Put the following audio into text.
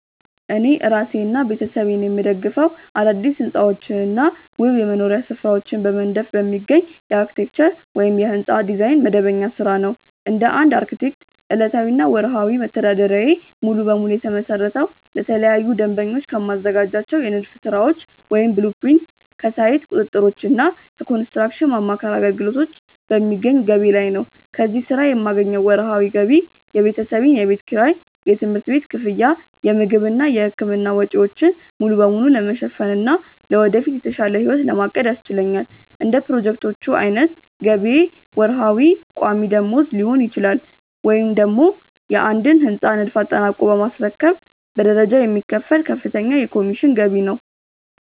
እኔ እራሴንና ቤተሰቤን የምደግፈው አዳዲስ ሕንፃዎችንና ውብ የመኖሪያ ስፍራዎችን በመንደፍ በሚገኝ የአርክቴክቸር (የሕንፃ ዲዛይን) መደበኛ ሥራ ነው። እንደ አንድ አርክቴክት፣ ዕለታዊና ወርሃዊ መተዳደሪያዬ ሙሉ በሙሉ የተመሰረተው ለተለያዩ ደንበኞች ከማዘጋጃቸው የንድፍ ሥራዎች (blueprints)፣ ከሳይት ቁጥጥሮችና ከኮንስትራክሽን ማማከር አገልግሎቶች በሚገኝ ገቢ ላይ ነው። ከዚህ ሥራ የማገኘው ወርሃዊ ገቢ የቤተሰቤን የቤት ኪራይ፣ የትምህርት ቤት ክፍያ፣ የምግብና የሕክምና ወጪዎችን ሙሉ በሙሉ ለመሸፈንና ለወደፊት የተሻለ ሕይወት ለማቀድ ያስችለኛል። እንደ ፕሮጀክቶቹ ዓይነት ገቢዬ ወርሃዊ ቋሚ ደመወዝ ሊሆን ይችላል፤ ወይም ደግሞ የአንድን ሕንፃ ንድፍ አጠናቆ በማስረከብ በደረጃ የሚከፈል ከፍተኛ የኮሚሽን ገቢ ነው።